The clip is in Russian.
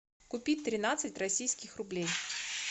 купить тринадцать российских рублей